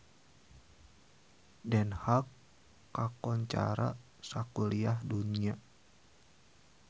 Den Haag kakoncara sakuliah dunya